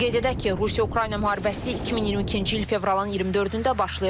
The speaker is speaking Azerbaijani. Qeyd edək ki, Rusiya-Ukrayna müharibəsi 2022-ci il fevralın 24-də başlayıb.